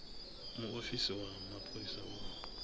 muofisi wa mapholisa u khou